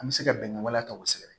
An bɛ se ka bɛnkan wɛrɛ ta u sɛgɛn